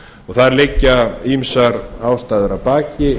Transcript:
og þar liggja ýmsar ástæður að baki